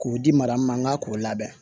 K'o di mara ma k'o labɛn